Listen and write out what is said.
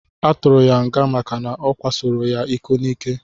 Aturu ya nga maka na okwasoro ya iko nike.